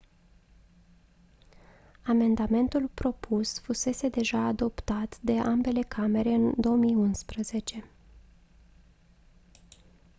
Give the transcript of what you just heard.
amendamentul propus fusese deja adoptat de ambele camere în 2011